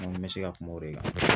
Minnu bɛ se ka kuma o de kan.